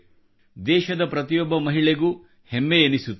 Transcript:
ದೇಶದ ಪ್ರತಿಯೊಬ್ಬ ಮಹಿಳೆಗೂ ಹಮ್ಮೆ ಎನಿಸುತ್ತದೆ